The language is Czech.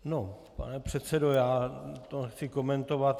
No, pane předsedo, já to nechci komentovat.